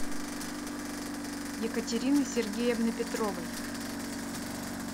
екатерины сергеевны петровой